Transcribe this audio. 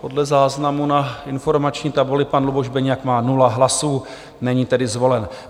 Podle záznamu na informační tabuli pan Luboš Beniak má 0 hlasů, není tedy zvolen.